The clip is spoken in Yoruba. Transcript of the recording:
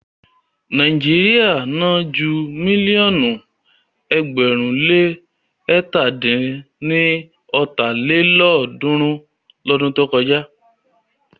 Nàíjíríà ná ju mílíọ̀nù ẹgbẹ̀rún le ẹ̀ta dín ní ọ́ta lélọ́ọ̀dúnrún lọdún tó kọjá lọ.